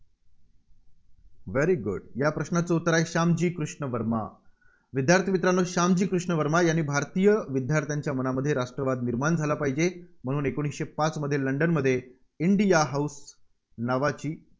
very good या प्रश्नाचं उत्तर आहे श्यामजी कृष्ण वर्मा. विद्यार्थी मित्रांनो श्यामजी कृष्ण वर्मा यांनी भारतीय विद्यार्थ्यांच्या मनामध्ये राष्ट्रवाद निर्माण झाला पाहिजे म्हणून एकोणीसशे पाचमध्ये लंडनमध्ये इंडिया हाऊस नावाची